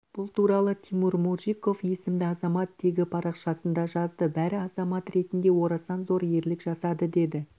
бұл туралы тимур моржиков есімді азамат тегіпарақшасында жазды бәрі азамат ретінде орасан зор ерлік жасады деді